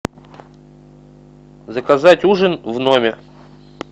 заказать ужин в номер